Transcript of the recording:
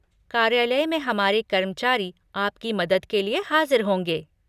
कार्यालय में हमारे कर्मचारी आपकी मदद के लिए हाज़िर होंगे।